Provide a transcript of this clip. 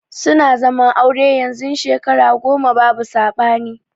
Suna zaman aure yanzun Shekara goma babu sabani.